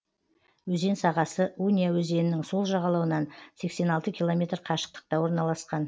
өзен сағасы унья өзенінің сол жағалауынан сексен алты километр қашықтықта орналасқан